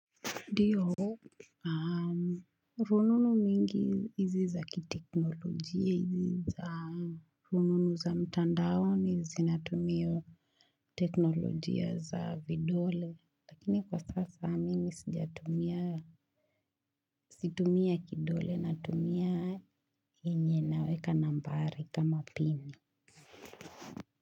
Ndio, rununu mingi izi za kiteknolojia, izi za rununu za mtandaoni zinatumia teknolojia za vidole, lakini kwa sasa mimi situmi ya kidole natumia yenye naweka nambari kama pini.